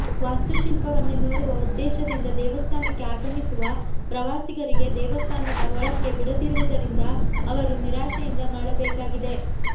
ವಾಸ್ತುಶಿಲ್ಪವನ್ನೇ ನೋಡುವ ಉದ್ದೇಶದಿಂದ ದೇವಸ್ಥಾನಕ್ಕೆ ಆಗಮಿಸುವ ಪ್ರವಾಸಿಗರಿಗೆ ದೇವಸ್ಥಾನದ ಒಳಕ್ಕೆ ಬಿಡದಿರುವುದರಿಂದ ಅವರು ನಿರಾಶೆಯಿಂದ ಮರಳಬೇಕಾಗಿದೆ